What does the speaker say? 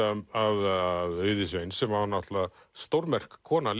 af Auði Sveins sem var náttúrulega stórmerk kona